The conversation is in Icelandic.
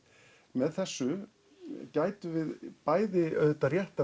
með þessu gætum við bæði auðvitað rétt